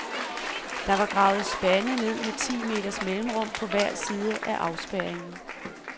Der var gravet spande ned med ti meters mellemrum på hver side af afspærringen.